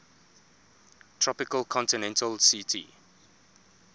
tropical continental ct